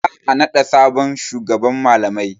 Za a naɗa sabon shugaban malamai.